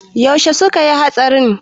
Yaushe suka yi hatsarin?